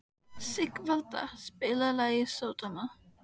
Sigvalda, spilaðu lagið „Sódóma“.